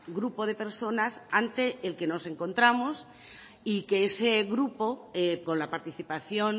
grupo de personas ante el que nos encontramos y que ese grupo con la participación